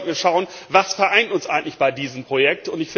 Darum sollten wir schauen, was vereint uns eigentlich bei diesem Projekt?